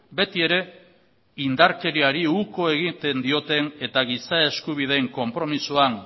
beti ere indarkeriari uko egiten dioten eta giza eskubideen konpromisoan